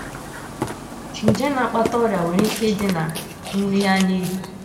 Nje na - akpata ọrịa nwere ike ịdị ná nri anyị riri.